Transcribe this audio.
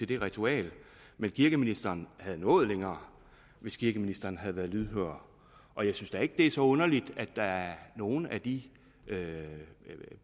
det ritual men kirkeministeren havde nået længere hvis kirkeministeren havde været lydhør og jeg synes ikke at det er så underligt at der er nogle af de